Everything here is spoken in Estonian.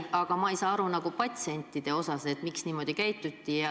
Aga ma ei saa aru, kuidas sai patsientidele niimoodi teha.